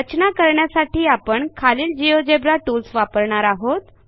रचना करण्यासाठी आपण खालील जिओजेब्रा टूल्स वापरणार आहोत